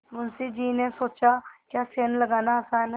मुंशी जी ने सोचाक्या सेंध लगाना आसान है